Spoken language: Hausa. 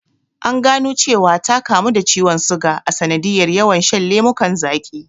An gano cewa ta kamu da ciwon suga a sanadiyar yawan shan lemukan zaqi